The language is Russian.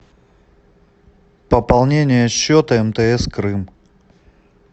пополнение счета мтс крым